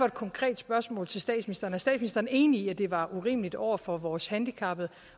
et konkret spørgsmål til statsministeren er statsministeren enig i at det var urimeligt over for vores handicappede